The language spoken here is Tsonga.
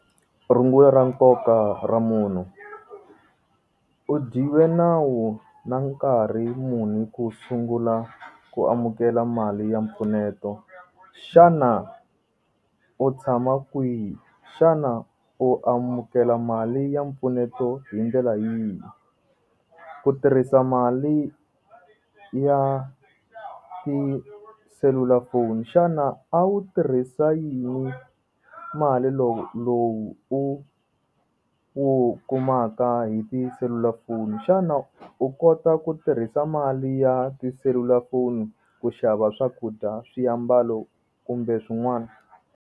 Rungula ra nkoka ra munhu, u dyiwe nawu na nkarhi muni ku sungula ku amukela mali ya mpfuneto xana u tshama kwihi xana u amukela mali ya mpfuneto hi ndlela yihi, ku tirhisa mali ya tiselulafoni xana a wu tirhisa yini mali lowu lowu u u kumaka hi tiselulafoni xana u kota ku tirhisa mali ya tiselulafoni ku xava swakudya swiambalo kumbe swin'wana.